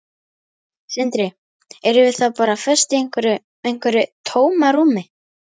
Sindri: Erum við þá bara föst í einhverju, einhverju tómarúmi?